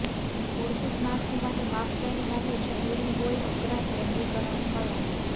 મૂળભૂત માળખું માટે માપદંડ માટે જરૂરી હોય અપરાધ વર્ગીકરણ કલાક